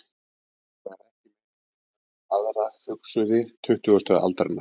Sennilega er ekki meira ritað um aðra hugsuði tuttugustu aldar.